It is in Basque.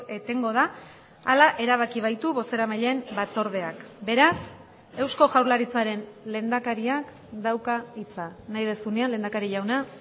etengo da hala erabaki baitu bozeramaileen batzordeak beraz eusko jaurlaritzaren lehendakariak dauka hitza nahi duzunean lehendakari jauna